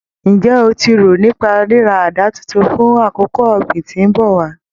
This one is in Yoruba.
Ǹjẹ́ o ti rò nípa ríra àdá titun fún àkókò ọ̀gbìn tí ń bọ̀ wá?